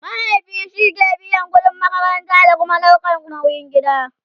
mahaifi shike biyan ƙudin makaranta da Kuma ɗaukan nauyin gida